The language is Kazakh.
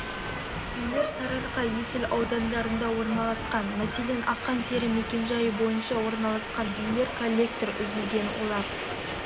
үйлер сарыарқа есіл аудандарында орналасқан мәселен ақан сері мекенжайы бойынша орналасқан үйде коллектор үзілген олар